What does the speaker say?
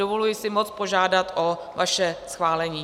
Dovoluji si moc požádat o vaše schválení.